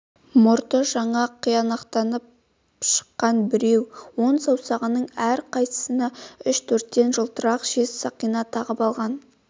мұрты жаңа қияқтанып шыққан біреу он саусағының әр қайсысына үш-төрттен жылтырақ жез сақина тағып алған